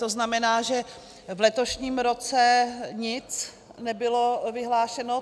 To znamená, že v letošním roce nebylo nic vyhlášeno?